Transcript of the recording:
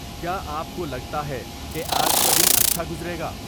کیا آپ کو لگتا ہے کہ آج کا دن اچھا گزرے گا